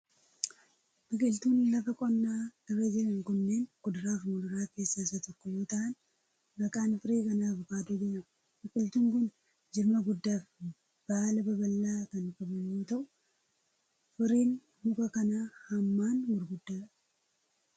Biqiltuun lafa qonnaa irra jiran kunnneen, kuduraa fi muduraa keessaa isa tokko yoo ta'an, maqaan firii kanaa avokaadoo jedhama. Biqiltuun kun, jirma guddaa fi baala babal'aa kan qabu yoo ta'u, firiin muka kanaa hammaan guguddaa dha.